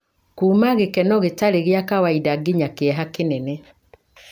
kuuma gĩkeno gĩtarĩ gĩa kawaida nginya kĩeha kĩnene.